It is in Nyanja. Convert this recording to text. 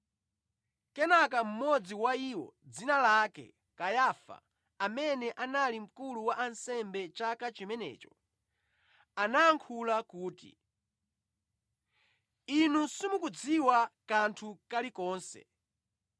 Kenaka mmodzi wa iwo, dzina lake Kayafa, amene anali mkulu wa ansembe chaka chimenecho, anayankhula kuti, “Inu simukudziwa kanthu kalikonse!